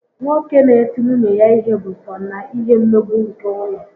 Nwoke n'eti nwunye ya ihe bụ so na ihe mmegbu nke ụlọ